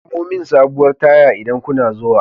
Samo min sabuwar taya idan kuna zuwa.